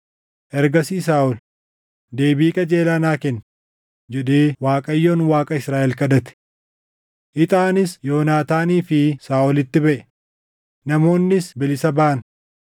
Ergasii Saaʼol, “Deebii qajeelaa naa kenni” jedhee Waaqayyoon Waaqa Israaʼel kadhate. Ixaanis Yoonaataanii fi Saaʼolitti baʼe; namoonnis bilisa baʼan.